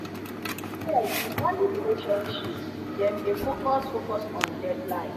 here we value relationship dem dey focus focus on deadline.